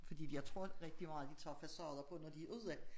Fordi vi jeg tror rigtig meget de tager facader på når de er ude